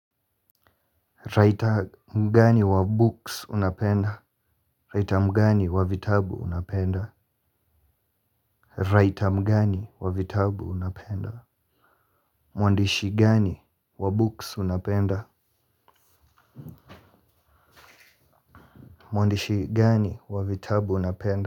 Writer mgani wa books unapenda? Writer mgani wa vitabu unapenda? Writer mgani wa vitabu unapenda? Mwandishi gani wa books unapenda? Mwandishi gani wa vitabu unapenda?